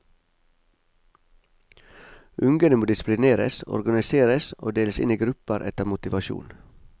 Ungene må disiplineres, organiseres og deles inn i grupper etter motivasjon.